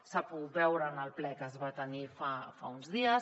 s’ha pogut veure en el ple que es va tenir fa uns dies